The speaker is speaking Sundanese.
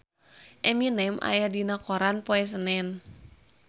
Eminem aya dina koran poe Senen